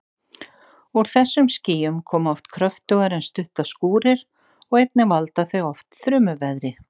Úr þessum skýjum koma oft kröftugar en stuttar skúrir og einnig valda þau oft þrumuveðri.